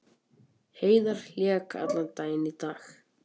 Heiðar lék allan leikinn í dag